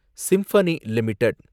symphony limited